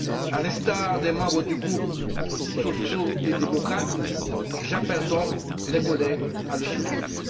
À l'instar des membres du groupe socio démocrate, j'appelle donc les collègues à le soutenir.